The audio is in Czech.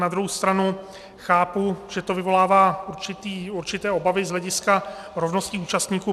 Na druhou stranu chápu, že to vyvolává určité obavy z hlediska rovnosti účastníků.